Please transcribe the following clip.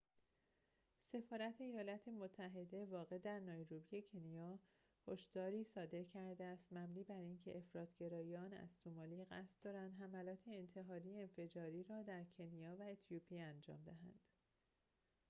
سفارت ایالات متحده واقع در نایروبی کنیا هشداری صادر کرده است مبنی بر اینکه افراط گرایان از سومالی قصد دارند حملات انتحاری انفجاری را در کنیا و اتیوپی انجام دهند